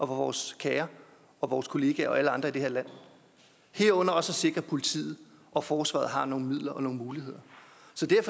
vores kære og vores kollegaer og alle andre i det her land herunder også at sikre at politiet og forsvaret har nogle midler og nogle muligheder